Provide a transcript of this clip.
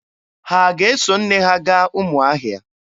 Ha ga-eso nne ha gaa Ụmụahịa?